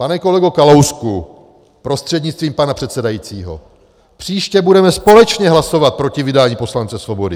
Pane kolego Kalousku prostřednictvím pana předsedajícího, příště budeme společně hlasovat proti vydání poslance Svobody.